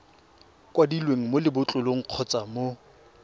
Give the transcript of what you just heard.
kwadilweng mo lebotlolong kgotsa mo